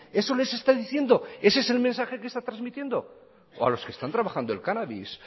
eso les está diciendo ese es el mensaje que está transmitiendo o a los que están trabajando el cannabis